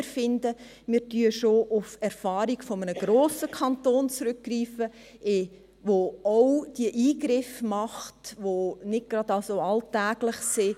Wir können auf die Erfahrung eines grossen Kantons zurückgreifen, der auch nicht alltägliche Eingriffe macht.